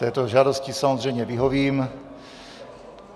Této žádosti samozřejmě vyhovím.